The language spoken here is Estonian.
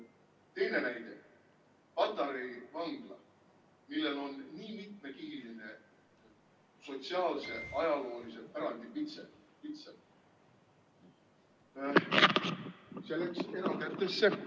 Teine näide, Patarei vangla, millel on nii mitmekihiline sotsiaalse, ajaloolise pärandi pitser – see läks erakätesse.